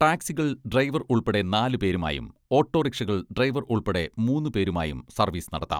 ടാക്സികൾ driver ഉൾപ്പെടെ നാലുപേരുമായും ഓട്ടോറിക്ഷകൾ ഡ്രൈവർ ഉൾപ്പെടെ മൂന്നുപേരുമായും സർവീസ് നടത്താം.